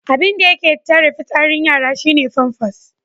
Abinda yake tare fitsarin yara shi ne famfas.